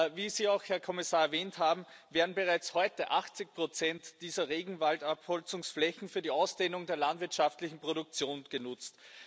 Wie Sie, Herr Kommissar, auch erwähnt haben, werden bereits heute 80 dieser Regenwaldabholzungsflächen für die Ausdehnung der landwirtschaftlichen Produktion genutzt.